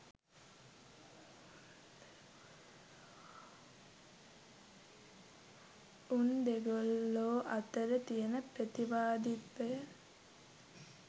උන් දෙගොල්ලො අතර තියන ප්‍රතිවාදිත්වය